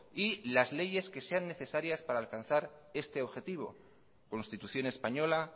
y las leyes que sean necesarias para alcanzar este objetivo constitución española